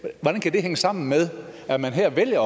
det hænge sammen med at man her vælger at